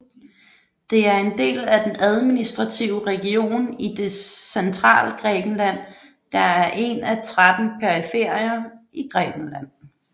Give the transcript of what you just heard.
Det er en del af den administrative region i det Centralgrækenland der er en af tretten periferier i Grækenland